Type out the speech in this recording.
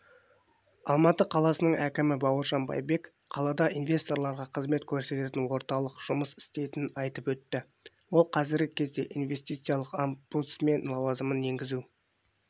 алматы қаласының әкімі бауыржан байбек қалада инвесторларға қызмет көрсететін орталық жұмыс істейтінін айтып өтті ол қазіргі кезде инвестициялық омбудсмен лауазымын енгізу